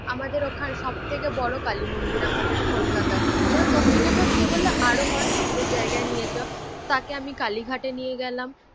আমাদের ওখানে সব থেকে বড়ো কালীমন্দির আমাদের কলকাতার। তো দক্ষিনেশ্বর সে বললো আরো কটা ঠাকুরের জায়গায় নিয়ে চল, তাকে আমি কালীঘাটে নিয়ে গেলাম।